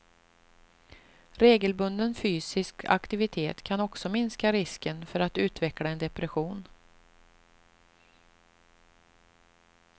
Regelbunden fysisk aktivitet kan också minska risken för att utveckla en depression.